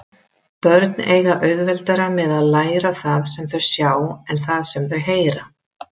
Börn eiga auðveldara með að læra það sem þau sjá en það sem þau heyra.